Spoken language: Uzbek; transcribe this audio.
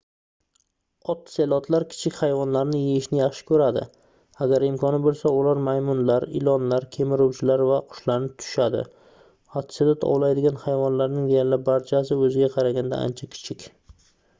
otselotlar kichik hayvonlarni yeyishni yaxshi koʻradi agar imkoni boʻlsa ular maymunlar ilonlar kemiruvchilar va qushlarni tutishadi otselot ovlaydigan hayvonlarning deyarli barchasi oʻziga qaraganda ancha kichik